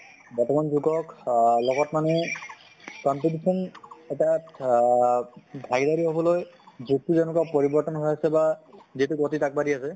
বৰ্তমান যুগক অহ লগত মানে competition এটা আহ হʼবলৈ যুগ্টো যেকনা পৰিৱৰ্তন হৈ আছে বা যিটো গতিত আগ বাঢ়ি আছে